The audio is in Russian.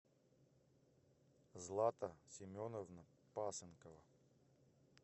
злата семеновна пасынкова